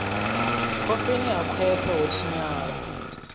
khofheni ha khwese ho tshinyala